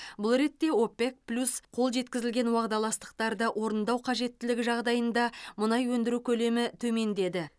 бұл ретте опек плюс қол жеткізілген уағдаластықтарды орындау қажеттілігі жағдайында мұнай өндіру көлемі төмендеді